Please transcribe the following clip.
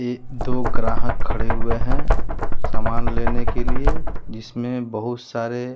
ये दो ग्राहक खड़े हुए हैं सामान लेने के लिए जिसमें बहुत सारे--